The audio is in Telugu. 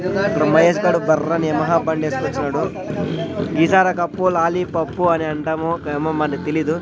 ఇప్పుడు మహేష్ గాడు బర్రని యమహా బండేసుకొచ్చినాడు ఈసారి కప్పు లాలీ పప్పు అని అంటాము ఏమో మనకు తెలీదు.